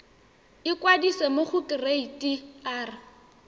ikwadisa mo go kereite r